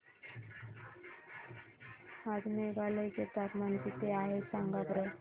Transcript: आज मेघालय चे तापमान किती आहे सांगा बरं